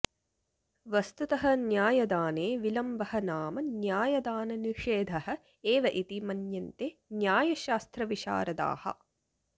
वस्तुतः न्यायदाने विलम्बः नाम न्यायदाननिषेधः एव इति मन्यन्ते न्यायशास्त्रविशारदाः